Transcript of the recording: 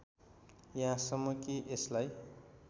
यहाँसम्म कि यसलाई